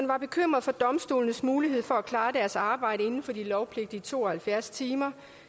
var bekymret for domstolenes mulighed for at klare deres arbejde inden for de lovpligtige to og halvfjerds timer